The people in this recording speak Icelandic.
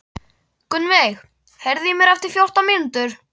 Gunnveig, heyrðu í mér eftir fjórtán mínútur.